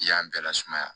I y'a bɛɛ lasumaya